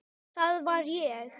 Það var ég!